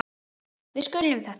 Við skiljum þetta ekki.